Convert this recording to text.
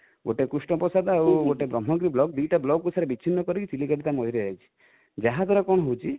ଗୋଟେ କୃଷ୍ଣପ୍ରସାଦ ଆଉ ଗୋଟେ ବ୍ରହ୍ମଗିରି ବ୍ଲକ, ଦୁଇଟା ବ୍ଲକ କୁ ସାର ବିଛିନ୍ନ କରି କି ଚିଲିକା ଟି ଯାଇଛି ଯାହାଦ୍ୱାରା କଣ ହଉଛି